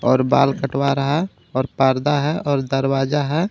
और बाल कटवा रहा है और पर्दा है और दरवाज़ा है.